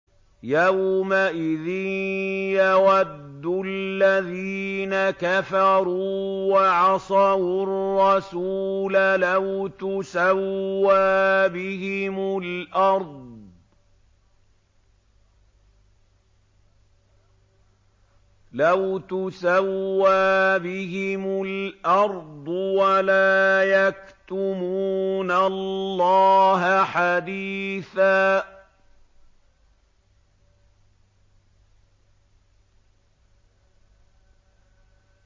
يَوْمَئِذٍ يَوَدُّ الَّذِينَ كَفَرُوا وَعَصَوُا الرَّسُولَ لَوْ تُسَوَّىٰ بِهِمُ الْأَرْضُ وَلَا يَكْتُمُونَ اللَّهَ حَدِيثًا